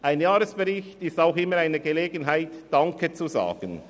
Ein Jahresbericht ist auch immer eine Gelegenheit, Danke zu sagen.